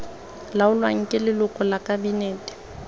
laolwang ke leloko la kabinete